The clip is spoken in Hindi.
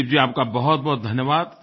दिलीप जी आपका बहुतबहुत धन्यवाद